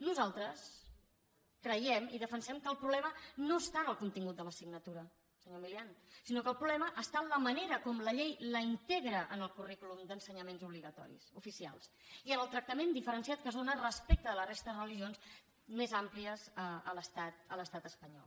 nosaltres creiem i defensem que el problema no està en el contingut de l’assignatura senyor milián sinó que el problema està en la manera com la llei la integra en el currículum d’ensenyaments obligatoris oficials i en el tractament diferenciat que es dóna respecte de la resta de religions més àmplies a l’estat espanyol